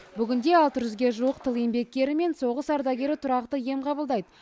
бүгінде ге жуық тыл еңбеккері мен соғыс ардагері тұрақты ем қабылдайды